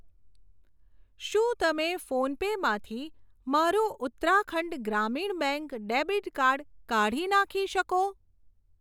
શું તમે ફોનપે માંથી મારું Uttarakhand Gramin bank debit card કાઢી નાખી શકો?